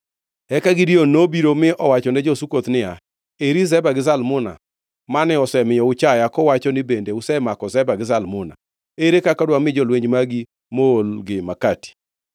Eka Gideon nobiro mi owachone jo-Sukoth niya, “Eri Zeba gi Zalmuna, mane osemiyo uchaya kuwacho ni, ‘Bende usemako Zeba gi Zalmuna? Ere kaka dwami jolweny magi moolgi makati?’ ”